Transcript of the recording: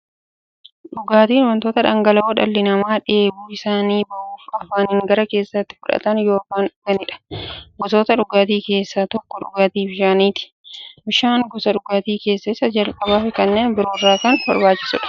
Dhugaatiin wanta dhangala'oo dhalli namaa dheebuu isaanii ba'uuf, afaaniin gara keessaatti fudhatan yookiin dhuganiidha. Gosoota dhugaatii keessaa tokko dhugaatii bishaaniti. Bishaan gosa dhugaatii keessaa isa jalqabaafi kanneen biroo irra kan barbaachisuudha.